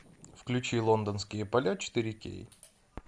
включи лондонские поля четыре кей